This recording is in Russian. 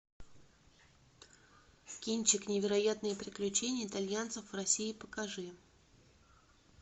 кинчик невероятные приключения итальянцев в россии покажи